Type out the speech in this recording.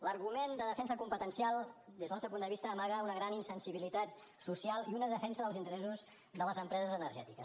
l’argument de defensa competencial des del nostre punt de vista amaga una gran insensibilitat social i una defensa dels interessos de les empreses energètiques